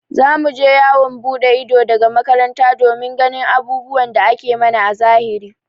Za mu je yawon buɗe ido daga makaranta domin ganin abubuwan da ake mana a zahiri.